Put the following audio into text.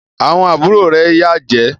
Àwọn àbúrò rẹ Yàn jé.